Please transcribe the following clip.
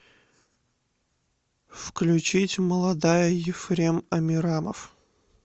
включить молодая ефрем амирамов